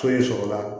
Foyi sɔrɔla